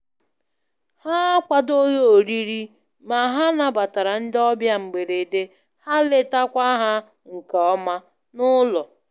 Ha akwadoghị oriri, ma ha nabatara ndị ọbịa mgberede ha letakwa ha nke ọma n'ụlọ.